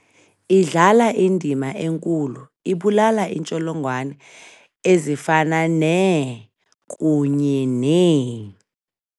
] idlala indima enkulu ]. Ibulala iintsholongwane ezifana nee] kunye nee ].